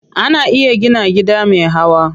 Ana iya gina gida me hawa.